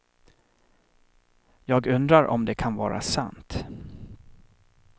Jag undrar om det kan vara sant.